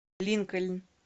линкольн